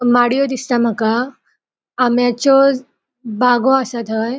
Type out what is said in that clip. माड़ियों दिसता माका आम्याच्यो बागों आसा थय.